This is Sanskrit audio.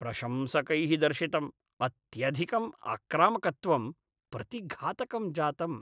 प्रशंसकैः दर्शितम् अत्यधिकम् आक्रामकत्वं प्रतिघातकं जातम्।